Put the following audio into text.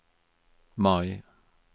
Mai